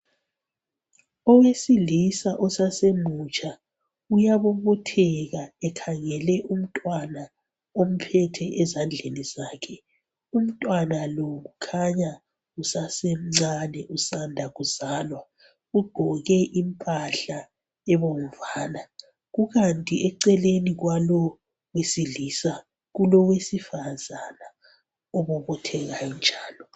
Owesilisa osasemutsha uyabobotheka. Ekhangele umntwana omphethe ezandleni zakhe. Umntwana lo kukhanya usasemncane, usanda kuzalwa. Ugqoke impahla ebomvana. Kukanti eceleni kwalowo owesilisa, kulowesifazana, obobothekayo njalo.